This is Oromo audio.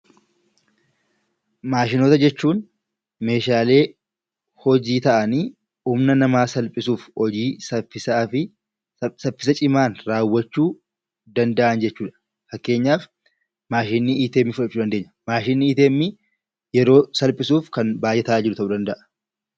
Maashinoota jechuun meeshaalee hojii ta'anii humna namaa salphisuuf hojii saffisaa fi saffisa cimaan raawwachuu danda'an jechuudha. Fakkeenyaaf maashinii "ATM" fudhachuu dandeenya. Maashiniin "ATM" yeroo salphisuuf baay'ee kan nu tajaajilu ta'uu danda'a.